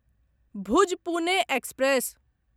Bhuj Pune express